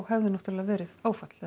hefði náttúrulega verið áfall